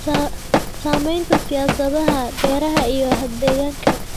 Saamaynta siyaasadaha beeraha iyo deegaanka.